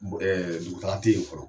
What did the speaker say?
Dugutaagate yen fɔlɔ.